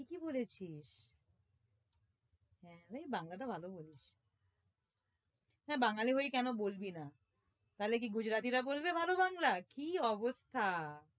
ঠিকই বলেছিস হ্যাঁ ভাই বাংলা টা ভালো বলিস হ্যাঁ বাঙালি হয়ে কেনো বলবি না নালে কি গুজরাটি রা বলবে ভালো বাংলা? কি অবস্হা